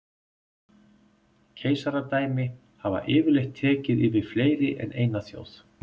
Keisaradæmi hafa yfirleitt tekið yfir fleiri en eina þjóð.